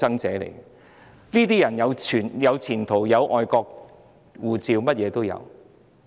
這些人有前途、有外國護照，甚麼也有。